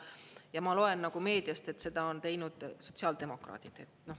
Ja ma loen nagu meediast, et seda on teinud sotsiaaldemokraadid.